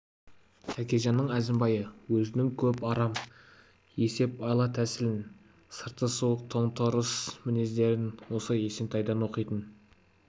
тәкежанның әзімбайы өзінің көп арам есеп айла-тәсілін сырты суық тоң-торыс мінездерін осы есентайдан оқитын